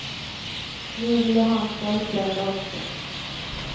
Nu vill jag ha en trollslända också.